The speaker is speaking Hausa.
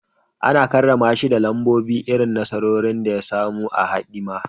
Ana karrama shi da kambun irin nasarorin da ya samu a hidima